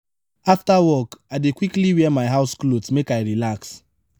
afta work i dey quickly wear my house clothes make i relax.